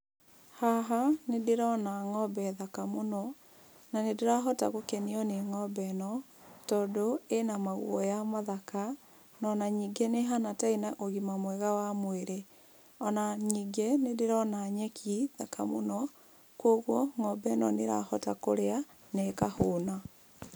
Haha nĩ ndĩrona ng'ombe thaka mũno, na nĩndĩrahota gũkenio nĩ ng'ombe ĩno, tondũ ĩna maguoya mathaka, no ona ningĩ nĩ ĩhana ta ĩna ũgima mwega wa mwĩrĩ. Ona ningĩ nĩ ndĩrona nyeki thaka mũno, koguo ng'ombe ĩno nĩ ĩrahota kũrĩa na ĩkahũna.